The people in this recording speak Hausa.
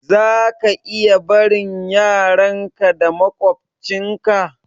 Zaka iya barin yaran ka da maƙwabtcin ka